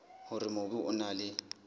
hore mobu o na le